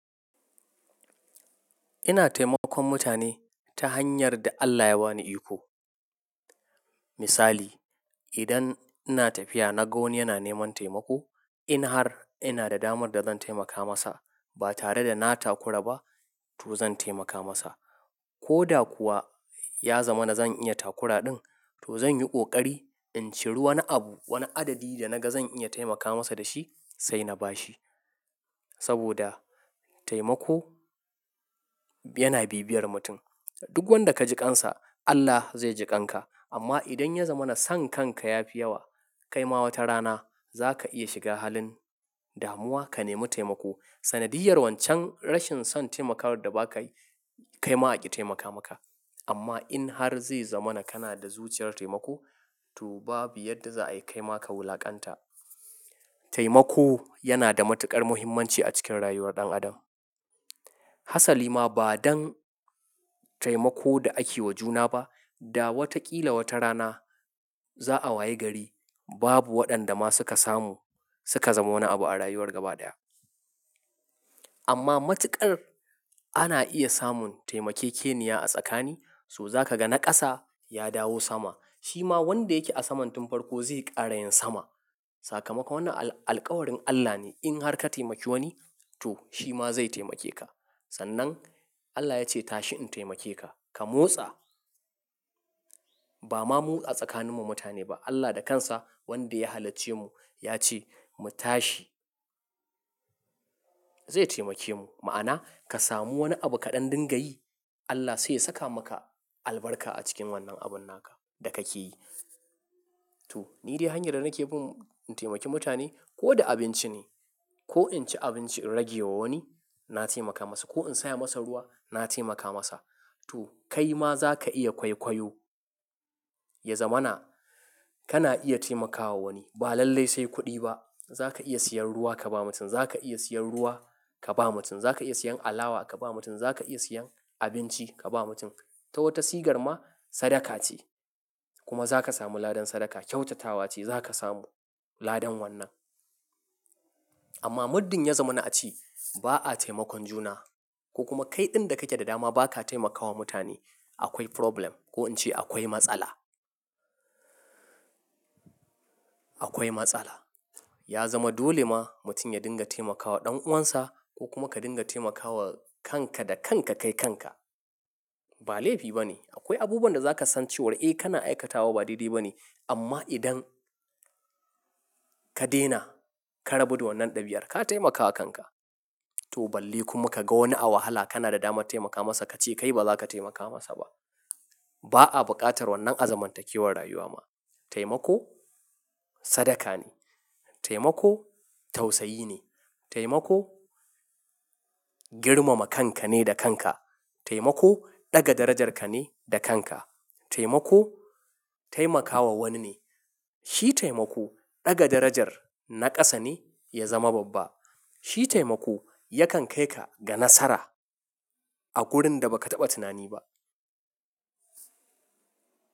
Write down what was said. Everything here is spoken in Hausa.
Ina taimakon mutane ta hanyar da Allah ya ba ni iko. Misali, idan ina tafiya na ga wani yana neman taimako, in har ina da damar da zan taimaka masa ba tare da na takura ba to zan taimaka masa. Ko da kuwa ya zama na zan iya takura ɗin to zan yi ƙoƙari in ciri wani abu, wani adadi da naga zan iya taimaka masa da shi sai na ba shi. Saboda taimako yana bibiyar mutum. Duk wanda ka jiƙansa Allah zai jiƙanka. Amma idan ya zama na son kanka ya fi yawa, kai ma wata rana za ka iya shiga halin damuwa ka nemi taimako. Sanadiyar wancan rashin son taimakawar da ba kayi kaima aƙi taimaka maka. Amma in har zai zama na kana da zuciyar taimako to babu yadda za, ayi kaima ka wulaƙanta. Taimako yana da matuƙar muhimmanci a cikin rayuwar ɗan adam. Hasali ma ba don taimako da ake wa juna ba, da wataƙila wata rana za'a wayi gari babu waɗanda ma suka samu suka zama wani abu a rayuwar gaba ɗaya. Amma matuƙar ana iya samun taimakekeniya a tsakani, so za ka ga na ƙasa ya dawo sama. Shi ma wanda yake a saman tunfarko zai ƙara yin sama. Sakamako wannan alƙawarin Allah ne. In har ka taimaki wani to shi ma zai taimake ka. Sannan Allah ya ce tashi in taimake ka, ka motsa. Ba ma mu a tsakanin mu mutane ba. Allah da kansa wanda ya halacce mu ya ce mu tashi. Zai taimake mu. Ma'ana ka samu wani abu ka ɗan dinga yi Allah sai ya saka maka albarka a cikin wannan abun naka da ka ke yi. To, ni dai hanyar da nake bin in taimaki mutane ko da abinci ne. Ko in ci abinci in rage wa wani na taimaka masa. Ko in saya masa ruwa na taimaka masa. To kai ma za ka iya kwaikwayo. Ya zama na kana iya taimakawa wani. Ba lallai sai kuɗi ba. Za ka iya siyan ruwa ka ba mutum. Za ka iya siyan ruwa ka ba mutum. Za ka iya siyan alawa ka ba mutum. Za ka iya siyan abinci ka ba mutum. Ta wata sigar ma sadaka ce. Kuma za ka samu ladan sadaka. Kyautatawa ce za ka samu ladan wannan. Amma muddin ya zama na a ce ba'a taimakon juna ko kuma kai ɗin da kake da dama ba ka taimakawa mutane akwai problem ko in ce akwai matsala. Akwai matsala. Ya zama dole ma mutum ya dinga taimakawa ɗan'uwansa ko kuma ka dinga taimakawa kanka da kanka kai kanka. Ba laifi ba ne. Akwai abubuwan da za ka san cewa eh kana aikatawa ba daidai ba ne. Amma idan ka daina, ka rabu da wannan ɗabi, ar, ka taimakawa kanka. To balle kuma ka ga wani a wahala kana da damar taimaka masa ka ce kai ba za ka taimaka masa ba. Ba'a buƙatar wannan azamantakewar rayuwa ma. Taimako sadaka ne. Taimako tausayi ne. Taimako girmama kanka ne da kanka. Taimako ɗaga darajarka ne da kanka. Taimako taimakawa wani ne. Shi taimako ɗaga darajar na ƙasa ne ya zama babba. Shi taimako yakan kai ka ga nasara a wurin da ba ka taɓa tunani ba.